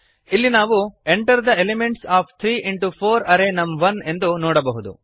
ಇಲ್ಲಿ ನಾವು enter the elements of three into four array ನಮ್1 ಎಂದು ನೋಡಬಹುದು